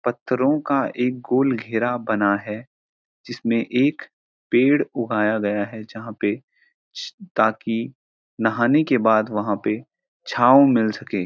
पत्‍थरों का एक गोल घेरा बना है जिसमें एक पेड़ उगाया गया है जहाँ पे ताकि नहाने के बाद वहाँ पे छाँव मिल सके।